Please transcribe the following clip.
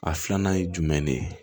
A filanan ye jumɛn de ye